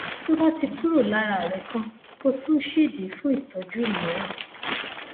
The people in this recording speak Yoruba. tó bá ti kúrò lára rẹ tán kò tún sídìí fún ìtọjú mìíràn